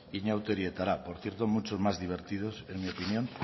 inauterietara por cierto mucho más divertidos en mi opinión